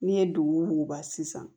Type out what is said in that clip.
N'i ye dugu muguba sisan